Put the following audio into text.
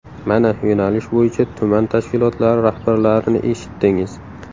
Mana yo‘nalish bo‘yicha tuman tashkilotlari rahbarlarini eshitdingiz.